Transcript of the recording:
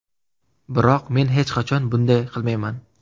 Biroq men hech qachon bunday qilmayman.